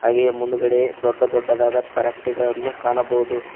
ಹಾಗೆ ಮುಂದುಗಡೆ ದೊಡ್ಡ ದೊಡ್ಡದಾದ ಫ್ಯಾಕ್ಟರಿ ಗಳನ್ನು ಕಾಣಬಹುದು.